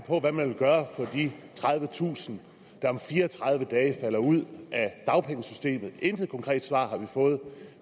på hvad man vil gøre for de tredivetusind der om fire og tredive dage falder ud af dagpengesystemet intet konkret svar har vi fået